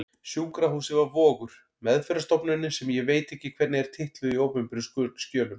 Sjúkrahúsið var Vogur, meðferðarstofnunin sem ég veit ekki hvernig er titluð í opinberum skjölum.